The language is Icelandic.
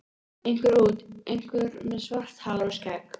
Einhver út, einhver með svart hár og skegg.